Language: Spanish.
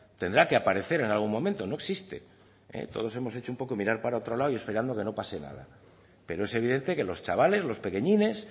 tendrá que aparecer en algún momento no existe todos hemos hecho un poco mirar para otro lado y esperando que no pase nada pero es evidente que los chavales los pequeñines